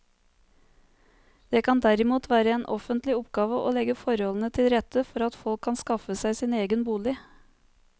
Det kan derimot være en offentlig oppgave å legge forholdene til rette for at folk kan skaffe seg sin egen bolig.